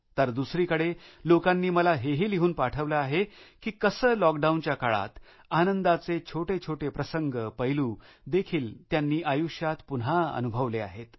तर दुसरीकडे लोकांनी मला हेही लिहून पाठवलं आहे की कसे लॉकडाऊनच्या काळात आनंदाचे छोटे छोटे प्रसंगपैलू देखील त्यांनी आयुष्यात पुन्हा अनुभवले आहे